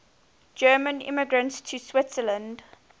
german immigrants to switzerland